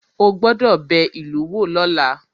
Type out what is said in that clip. Ó gbọ́dọ̀ bẹ ìlú wò lọ́la